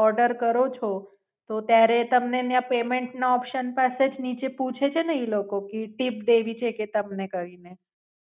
Order કરો છો તો ત્યારે એ તમને ત્યાં Payment નો Option પાસે જ નીચે પૂછે છે ને ઈ લોકો કે ટીપ દેવી છે કે તમને કઇને.